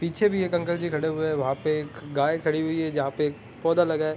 पीछे भी एक अंकल जी खड़े हुए है वहाँ पे एक गाय खड़ी हुई है जहाँ पे एक पौधा लगा है।